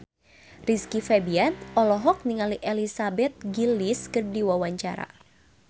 Rizky Febian olohok ningali Elizabeth Gillies keur diwawancara